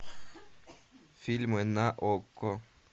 фильмы на окко